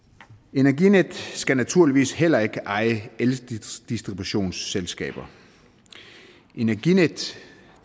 energinet skal naturligvis heller ikke eje eldistributionsselskaber energinet